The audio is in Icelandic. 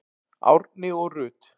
Árni og Rut.